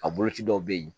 A boloci dɔw bɛ yen